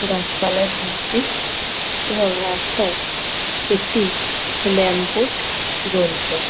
গাছপালায় ভর্তি এবং রাস্তায় একটি ল্যাম্প পোস্ট জ্বলছে ।